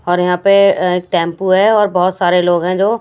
और यहाँ पे एक टेंपू है और बहुत सारे लोग हैं जो --